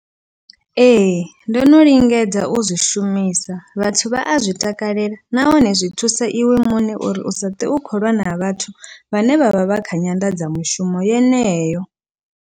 Ee, ndo no lingedza u zwi shumisa vhathu vha a zwi takalela nahone zwi thusa iwe muṋe uri u sa ṱwe u khou lwa na vhathu vhane vhavha vha kha nyanḓadzamushumo yeneyo.